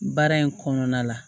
Baara in kɔnɔna la